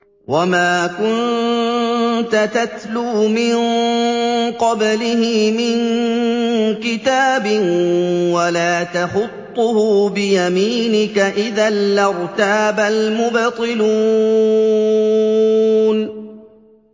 وَمَا كُنتَ تَتْلُو مِن قَبْلِهِ مِن كِتَابٍ وَلَا تَخُطُّهُ بِيَمِينِكَ ۖ إِذًا لَّارْتَابَ الْمُبْطِلُونَ